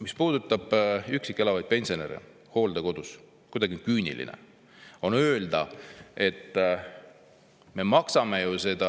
Mis puudutab üksi elavaid pensionäre, kes on hooldekodus, siis kuidagi küüniline on öelda, et me maksame seda